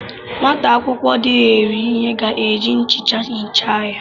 Nwata akwụkwọ dehiere ihe ga eji nchicha hichaa ya